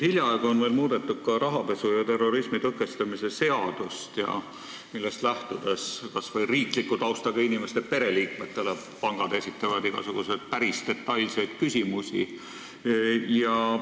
Hiljaaegu on veel muudetud ka rahapesu ja terrorismi tõkestamise seadust, millest lähtudes esitavad pangad kas või riikliku taustaga inimeste pereliikmetele igasuguseid päris detailseid küsimusi.